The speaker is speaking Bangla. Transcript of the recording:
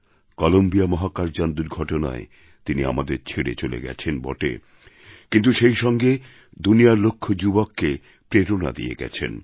কলম্বিয়া মহাকাশযান দুর্ঘটনায় তিনি আমাদের ছেড়ে চলে গেছেন বটে কিন্তু সেই সঙ্গে দুনিয়ার লক্ষ যুবককে প্রেরণা দিয়ে গেছেন